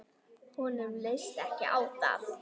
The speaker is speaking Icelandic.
Honum leist ekki á það.